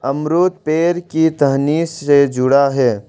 अमरुद पेड़ की टहनी से जुड़ा है।